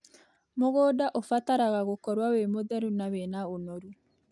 Mũdũnda ũbataraga gũkorwo wĩ mũtheru, na wĩna ũnoru,